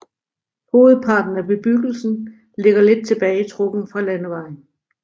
Hovedparten af bebyggelsen ligger lidt tilbagetrukket fra landevejen